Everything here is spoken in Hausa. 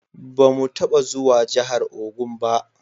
Ba mu taba zuwa jahar Ogun ba